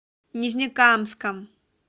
нижнекамском